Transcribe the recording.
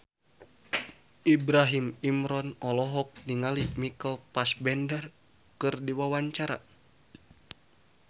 Ibrahim Imran olohok ningali Michael Fassbender keur diwawancara